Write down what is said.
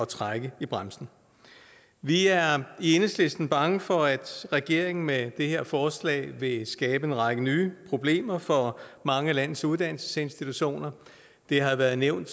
trække i bremsen vi er i enhedslisten bange for at regeringen med det her forslag vil skabe en række nye problemer for mange af landets uddannelsesinstitutioner det har været nævnt